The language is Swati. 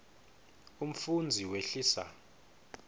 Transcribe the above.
umfundzi wehlisa